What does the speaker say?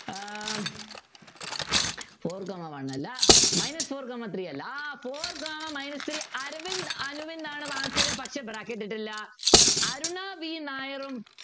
ആഹ് four comma one അല്ല minus four comma three അല്ല ah four comma minus three Aravind Anuvind ആണ് answer ചെയ്തത് പക്ഷെ bracket ഇട്ടില്ല അരുണ വി നായറും